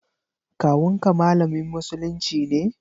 Kawun ka malamin musulunci ne?